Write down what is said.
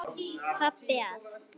Pabbi að.